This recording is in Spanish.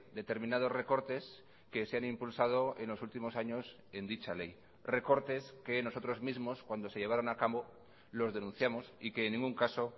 determinados recortes que se han impulsado en los últimos años en dicha ley recortes que nosotros mismos cuando se llevaron a cabo los denunciamos y que en ningún caso